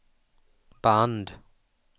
band